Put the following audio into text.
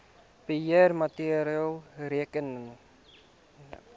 beheer maatreëls rakende